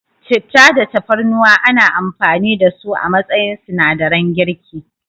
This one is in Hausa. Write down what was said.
Citta da Tafarnuwa ana amfani da su a matsayin sinadaran girki.